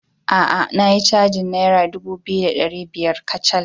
A a, na yi cajin Naira dubu biyu da ɗari biyar kacal.